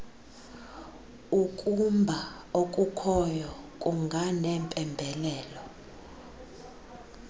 ukumba okukhoyo kunganempembelelo